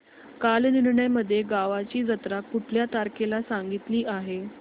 कालनिर्णय मध्ये गावाची जत्रा कुठल्या तारखेला सांगितली आहे